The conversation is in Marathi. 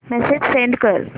मेसेज सेंड कर